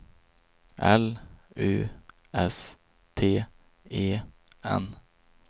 L U S T E N